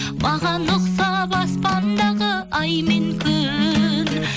маған ұқсап аспандағы ай мен күн